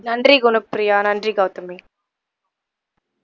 நன்றி குணப்ப்ரியா நன்றி கவுதமி